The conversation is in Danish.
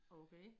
Okay